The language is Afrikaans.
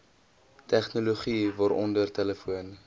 tegnologie waaronder telefoon